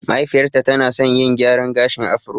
Mahaifiyar ta tana san yin gyran gashin afro